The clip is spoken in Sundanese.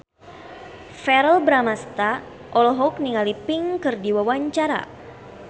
Verrell Bramastra olohok ningali Pink keur diwawancara